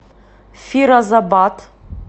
фирозабад